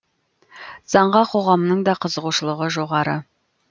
заңға қоғамның да қызығушылығы жоғары